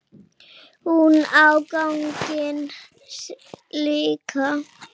Hún á ganginn líka.